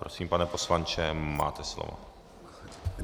Prosím, pane poslanče, máte slovo.